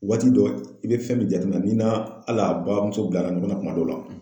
Waati dɔ i bɛ fɛn min jateminɛ n'i n'a al'a bamuso bilala nin kɔnɔ kuma dɔ la.